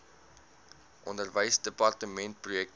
onderwysdepartementprojekte